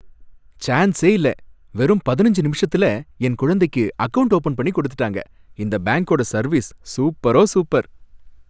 சான்சே இல்ல வெறும் பதினஞ்சு நிமிஷத்துல என் குழந்தைக்கு அக்கவுண்ட் ஓபன் பண்ணி கொடுத்துட்டாங்க. இந்த பேங்கோட சர்வீஸ் சூப்பரோ சூப்பர்.